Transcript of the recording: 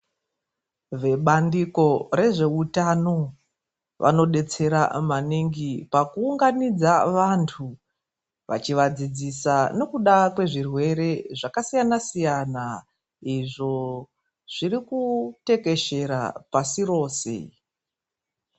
Vebandiko rezvehutano vanodetsera maningi pakuunganidza vantu vachivadzidzisa nekuda kwezvirwere zvakasiyana-siyana izvo zviri kutekeshera pasi rose.